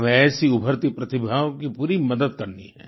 हमें ऐसी उभरती प्रतिभाओं की पूरी मदद करनी है